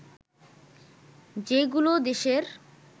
যেগুলো দেশের